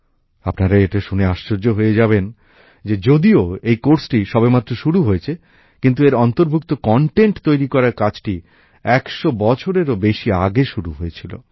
আপনারা এটা শুনে আশ্চর্য হয়ে যাবেন যে যদিও এই পাঠক্রমটি সবেমাত্র শুরু হয়েছে কিন্তু এর অন্তর্ভুক্ত বিষয়বস্তু তৈরি করার কাজটি ১০০ বছরেরও বেশি আগে শুরু হয়েছিল